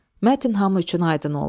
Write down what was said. Mətn hamı üçün aydın oldu.